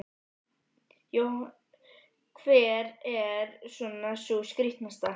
Jóhanna Margrét Gísladóttir: Hver er svona sú skrítnasta?